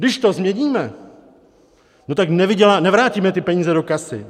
Když to změníme, no tak nevrátíme ty peníze do kasy.